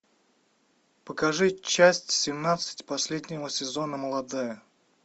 покажи часть семнадцать последнего сезона молодая